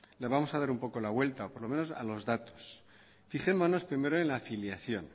le vamos a dar un poco la vuelta por lo menos a los datos fijémonos primero en la afiliación